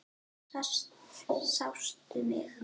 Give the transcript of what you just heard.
Sástu mig?